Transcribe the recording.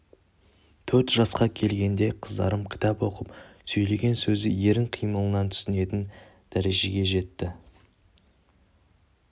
төрт жасқа келгенде қыздарым кітап оқып сөйлеген сөзді ерін қимылынан түсінетін дәрежеге жетті